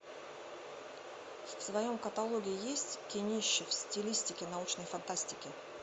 в твоем каталоге есть кинище в стилистике научной фантастики